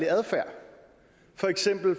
sørge